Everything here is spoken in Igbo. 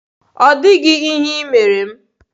Ọ dịghị ihe ị mere m.